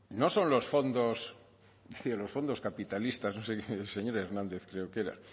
no son los fondos decía los fondos capitalistas no sé qué decía el señor hernández creo que era